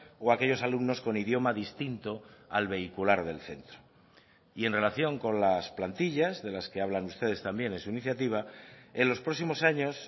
o aquellos alumnos con idioma distinto al vehicular del centro y en relación con las plantillas de las que hablan ustedes también en su iniciativa en los próximos años